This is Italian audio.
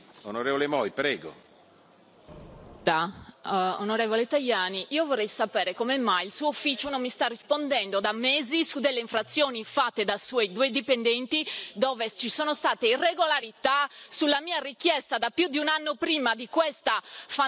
Onorevole Tajani, io vorrei sapere come mai il suo ufficio non mi sta rispondendo da mesi su delle infrazioni fatte da suoi due dipendenti, dove ci sono state irregolarità sulla mia richiesta da più di un anno prima di questa fandonia sul licenziamento di questi miei due dipendenti.